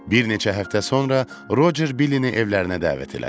Bir neçə həftə sonra Rocer Billini evlərinə dəvət elədi.